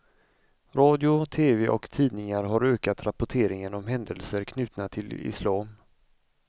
Radio, tv och tidningar har ökat rapporteringen om händelser knutna till islam.